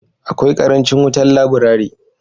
Akwai karancin wutan laburari.